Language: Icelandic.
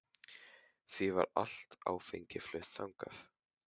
Því var allt áfengi flutt þannig.